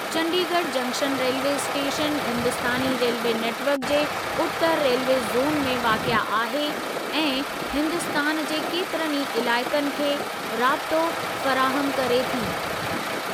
Chandigarh junction railway स्टेशनि Hindustani railway network जे उतरु रेल्वे ज़ोन में वाक़िए आहे ऐं हिन्दुस्तान जे केतिरनि ई इलाइक़नि खे राब्तो फ़राहमु करे थी।